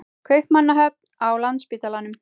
Kaupmannahöfn, á Landspítalanum.